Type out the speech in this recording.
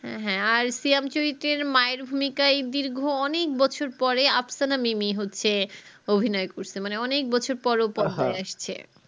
হ্যাঁ হ্যাঁ আর সিয়াম চরিত্তের মায়ের ভূমিকাই দীর্ঘ অনেক বছর পরে আফসানা মিমি হচ্ছে অভিনয় করসে মানে অনেক বছর পর আসছে